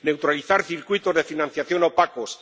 neutralizar circuitos de financiación opacos